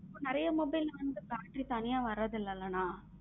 நறிய mobile வந்து battery தனிய வரத்து இல்லைல அண்ணா.